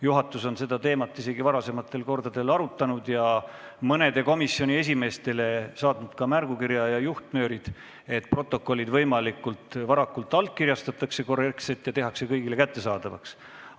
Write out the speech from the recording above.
Juhatus on seda teemat varasematel kordadel isegi arutanud ning nii mõnelegi komisjoni esimehele ka märgukirja ja juhtnöörid saatnud, et protokollid võimalikult varakult korrektselt allkirjastataks ja kõigile kättesaadavaks tehtaks.